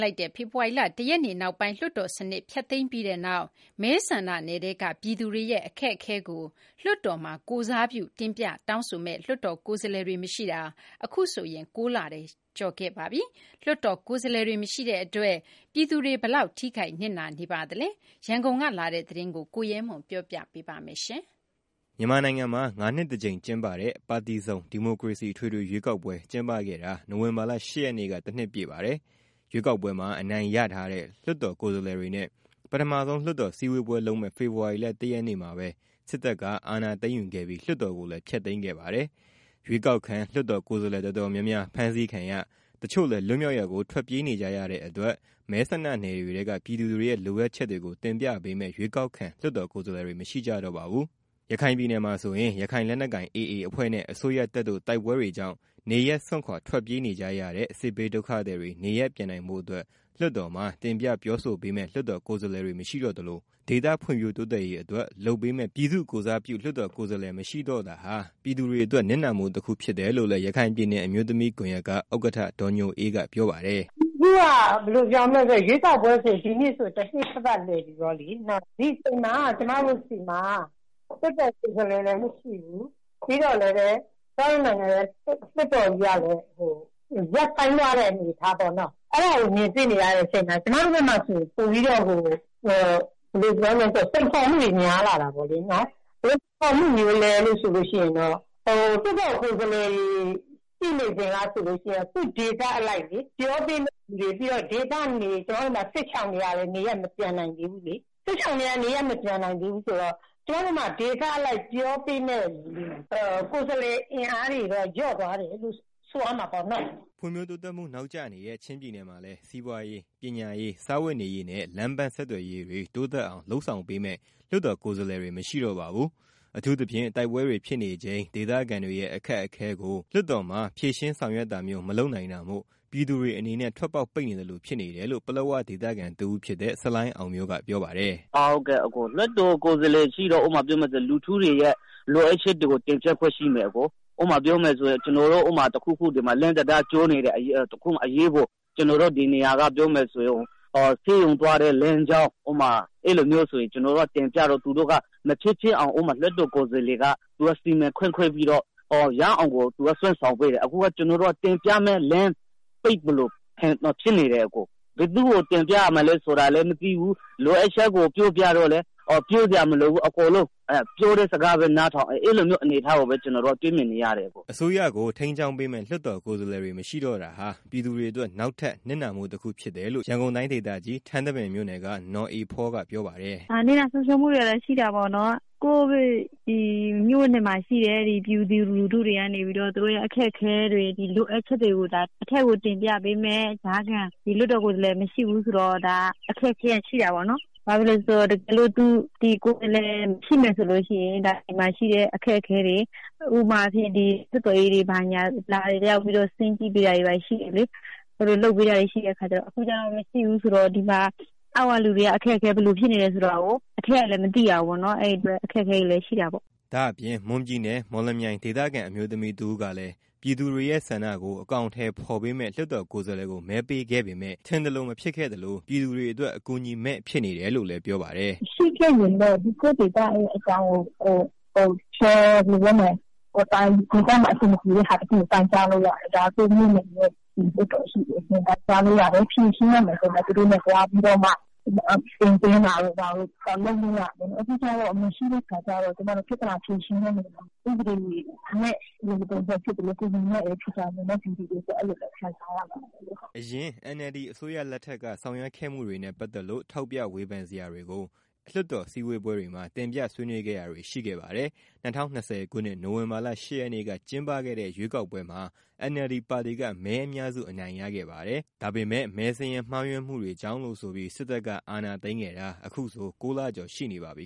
လိုက်တဲ့ ဖေဖော်ဝါရီလ ၁ ရက်နေ့ နောက်ပိုင်း လွှတ်တော်စနစ် ဖျက်သိမ်းခံရပါတယ်။ မဲဆန္ဒနယ်ထဲကပြည်သူတွေရဲ့ အခက်အခဲတွေကို လွှတ်တော်မှာ ကိုယ်စားပြု တင်ပြ တောင်းဆိုပေးမယ့် လွှတ်တော်ကိုယ်စားလှယ်တွေ မရှိတာ အခုဆို ၉လကျော်ခဲ့ပါပြီ။ လွှတ်တော်ကိုယ်စားလှယ်တွေ မရှိတဲ့အတွက် ပြည်သူတွေအတွက် ဘယ်လောက် ထိခိုက် နစ်နာပါသလဲ။ ရန်ကုန်က လာတဲ့ သတင်းကိုရဲမွန်က တင်ပြပေးပါမယ်။ မြန်မာနိုင်ငံမှာ ၅ နှစ်တစ်ကြိမ် ကျင်းပတဲ့ ပါတီစုံ ဒီမိုကရေစီအထွေထွေရွေးကောက်ပွဲ ကျင်းပခဲ့တာ ဒီနေ့ ၁ နှစ်ပြည့်ပါတယ်။ ရွေးကောက်ပွဲမှာ အနိုင်ရထားတဲ့ လွှတ်တော်ကိုယ်စားလှယ်တွေနဲ့ ပထမဆုံး လွှတ်တော် စည်းဝေးပွဲလုပ်မယ့် ဖေဖော်ဝါရီလ ၁ ရက်နေ့မှာ စစ်တပ်က အာဏာသိမ်းယူခဲ့ပြီး လွှတ်တော်ကိုလည်း ဖျက်သိမ်းခဲ့ပါတယ်။ ရွေးကောက်ခံ လွှတ်တော် ကိုယ်စားလှယ်တော်တော်များများ ဖမ်းဆီးခံရ၊ တချို့လည်း လွတ်မြောက်ရာကို ထွက်ပြေးနေကြရတဲ့အတွက် မဲဆန္ဒနယ်တွေထဲက ပြည်သူတွေရဲ့ လိုအပ်ချက်တွေကို တင်ပြပေးမယ့် ရွေးကောက်ခံ လွတ်တော်ကိုယ် စားလှယ်တွေ မရှိကြတော့ပါဘူး။ ရခိုင်ပြည်နယ်မှာ ဆိုရင် ရခိုင်လက်နက်ကိုင် AA အဖွဲ့နဲ့ အစိုးရတပ်တို့ တိုက်ပွဲတွေကြောင့် နေရပ်စွန့်ခွာထွက်ပြေးနေကြတဲ့ စစ်ဘေးဒုက္ခသည်တွေ နေပြန်နိုင်ဖို့အတွက် လွှတ်တော်မှာ တင်ပြပြောဆိုပေးမယ့် လွတ်တော်ကိုယ်စားလှယ်တွေ မရှိတော့သလို ဒေသဖွံ့ဖြိုးတိုးတက်ရေးအတွက် လုပ်ပေးမယ့် ပြည်သူ့ကိုယ်စားပြုလွတ်တော်ကိုယ်စားလှယ်မရှိတော့တာဟာ ပြည်သူတွေအတွက် နစ်နာမှုတစ်ခုဖြစ်တယ်လို့လည်း ရခိုင်ပြည်နယ်အမျိုးသမီးကွန်ရက်က ဥက္ကဌ ဒေါ်ညိုအေးက ပြောပါတယ်။ “ အခုက ဘယ်လိုပြောမလဲ ရွေးကောက်ပွဲ ဆိုရင် ဒီနေ့က တစ်နှစ်ပြည့်ပြီပေါ့နော်။ ဒီအချိန်မှာ ကျမတို့ဆီမှာ လွတ်တော်ကိုယ်စားလှယ်လည်း မရှိဘူး။ ပြီးတော့ ကျမတို့ နိုင်ငံရဲ့ လွတ် တော်ကြီးကလည်း ရပ်ဆိုင်းထားတယ်။ကျမတို့ဖက်မှာဆိုရင် ပိုပြီးတော့ စိန်ခေါ်မှုတွေ ပိုပြီးတော့ များလာတာပေါ့။ ဘယ်လို စိန်ခေါ်မှုလည်း ဆိုလို့ ရှိရင်တော့ လွတ်တော်ကိုယ် စားလှယ် ရှိစဉ်က ဆိုလို့ရှိရင် သူ့ဒေသအလိုက် ပြောပေးမယ့်သူတွေရှိတယ်။ အခုက စစ်ရှောင်တွေကလည်း နေရပ်မပြန်နိုင်ကြသေးဘူး။ စစ်ရှောင်တွေအတွက် ကျမတို့မှာ ဒေသအလိုက် ပြောပေးမယ့်သူ ကိုယ်စားလှယ်အင်အားတွေတော့ လျော့သွားတယ်လို့ ဆိုရမှာပေါ့နော်။” ဖွံ့ဖြိုးတိုးတက်မှု နောက်ကျနေတဲ့ ချင်းပြည်နယ်မှာလည်း စီးပွားရေး၊ ပညာရေး၊ စားဝတ်နေရေး နဲ့ လမ်းပန်းဆက်သွယ်ရေးတွေ တိုးတက်အောင် လုပ်ဆောင်ပေးမယ့် လွှတ်တော်ကိုယ်စားလှယ်တွေ မရှိတော့ပါဘူး။ အထူးသဖြင့် တိုက်ပွဲတွေဖြစ်နေချိန် ဒေသခံတွေရဲ့ အခက်အခဲကို လွှတ်တော်မှာ ဖြေရှင်းဆောင်ရွက်တာမျိုး မလုပ်နိုင်တာမို့ ပြည်သူတွေအနေနဲ့ ထွက်ပေါက်ပိတ်နေသလို ဖြစ်နေတယ်လို့ ပလက်ဝဒေသခံတစ်ဦးဖြစ်တဲ့ ဆလိုင်းအောင်မျိုးကပြောပါတယ်။ “လွတ်တော်ကိုယ်စားလှယ်ရှိတော့ ဥပမာပြောရရင် ပြည်သူလူထုတွေရဲ့ လိုအပ်ချက်တွေကို တင်ပြခွင့်ရှိမယ်။ ကျနော်တို့ ဒီမှာ တစ်ခုခု လမ်းတံတား ကျိုးနေတယ်။ ကျနော်တို့ ဒီနေရာက အရေးပေါ် သွာဖို့ လိုတယ်လို့ တင်ပြရင် သူတို့က မဖြစ်ဖြစ်အောင် လွတ်တော်ကိုယ်စား လှယ် တွေက စီမံခန့်ခွဲပြီးတော့ ရအောင်ကို သူတို့က စွမ်းဆောင်ပေးတယ်။ အခုက တင်ပြမယ့် လမ်းပိတ်သလို ဖြစ်နေတယ်။ ဘယ်သူ့ကို တင်ပြရမလည်း ဆိုတာကိုလည်း မသိဘူး။အခုက လိုအပ်ချက်တွေကို ပြောပြလည်း ပြောစရာမလိုဘူး ပြောတဲ့ စကားပဲ နားထောင် အဲလိုမျိုး အနေအထားကိုပဲ တွေ့မြင်နေရတယ်။” အစိုးကို ထိန်းကျောင်းပေမယ့် လွတ်တော် ကိုယ်စားလှယ်တွေ မရှိတာဟာ ပြည်သူတွေ အတွက် နောက်ထပ် နစ်နာမှုတစ်ခုဖြစ်တယ်လို့ ရန်ကုန်တိုင်းဒေသကြီး ထန်းတပင်မြို့ နယ်က နော်အေဖော ကပြောပါတယ်။ “ ဆုံးရှုံးနစ်နာမှုကတော့ ရှိတာပေါ့နော်။ ကိုယ့်မြို့နယ်မှာ ရှိတဲ့ပြည်သူလူထုကနေပြီးတော့ သူတို့ရဲ့ အခက်အခဲတွေ လိုအပ်ချက်တွေကို အထက်ကိုတင်ပြဖို့ ကြားခံ လွတ်တော် ကိုယ် စားလှယ်မရှိဘူး ဆိုတော့ အခက်အခဲကရှိတာပေါ့နော်။ ဘာဖြစ်လို့လည်း ဆိုတော့ ဒီလွှတ်တော်ကိုယ်စားလှယ်သာ ရှိမယ်ဆိုရင် ဒါဒေသရဲ့ အခက်အခဲတွေကို လာပြီးတော့ ဆင်းကြည့် ပေးတာရှိတယ်လေ။ အခုကတော့ အဲလို မရှိတော့ဘူး ဆိုတော့ ဒေသခံတွေရဲ့ အခက်အခဲ ဘယ်လိုဖြစ်နေတယ်ဆိုတာကို အထက်ကလည်း မသိရဘူးပေါ့နော်။” ဒါအပြင့် မွန်ပြည်နယ် မော်လမြိုင် ဒေသခံအမျိုးသမီး တစ်ဦးကလည်း ပြည်သူ့တွေရဲ့ ဆန္ဒကို အကောင်အထည်ဖော်ပေးမယ့်လွတ်တော်ကိုယ်စားလှယ်ကို မဲပေးခဲ့ပေမယ် ထင်သလိုဖြစ်ခဲ့သလို ပြည်သူတွေအတွက် အကူအညီမဲ့ ဖြစ်နေတယ်လို့ ပြောပါတယ်။ “လွတ်တော်ကိုယ်စားလှယ်တွေ ရှိခဲ့ရင်တော့ ကိုယ်ဒေသမှာ အဆင်မပြေတာတွေကို တိုင်ကြားလို့ရတယ်။ကိုယ့်ပြည်နယ်မှာ လွတ်တော်ရှိတယ် တိုင်းကြာလို့ရတယ်။ ဖြေရှင်းရမယ့် ပြဿနာ တစ်စုံတစ်ရာရှိရင်လည်း သူတို့နဲ့ သွားပြီး တင်သွင်းတာတို့ ဘာတို့ လုပ်လို့ရတယ်။ အခုကကျတော့ မရှိတဲ့ အခါကျတော့ ကျမတို့ ပြဿနာဖြေရှင်းတဲ့အခါ အထောက်အကူမဖြစ်ဘူး။နောက် ဥပဒေမယ့်သလို အကူအညီမယ့် ဖြစ်သွားတာပေါ့နော် ပြည်သူတွေအတွက် အဲလိုမြင်ပါတယ်။” အရင် NLD အစိုးရလက်ထက်က ဆောင်ရွက်ခဲ့မှုတွေနဲ့ပါတ်လို့ ထောက်ပြဝေဖန်စရာတွေကို လွှတ်တော် စည်းဝေးပွဲတွေမှာ တင်ပြဆွေးနွေးခဲ့တာတွေရှိခဲ့ပါတယ်။၂၀၂၀ခုနှစ် နိုင်ဝင်ဘာလ ၈ ရက်နေ့က ကျင်းပခဲ့တဲ့ ရွေးကောက်ပွဲမှာ NLD ပါတီက မဲအများစု အနိုင်ရခဲ့ပါတယ်။ ဒါပေမဲ့ မဲစာရင်းမှားယွင်းမှုတွေကြောင့်လို့ဆိုပြီး စစ်တပ်က အာဏာသိမ်းခဲ့တာ အခုဆို ၉လကျော်ရှိနေပါပြီ